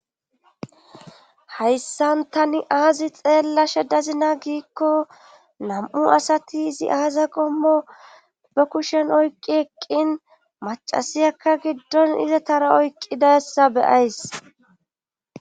Hayssan tani aazi xeella shedazina giikko nam7u asati izi aaza qommo be kushen oykqi eqqin macasiyakka giddon izatara oykqidassa beyays.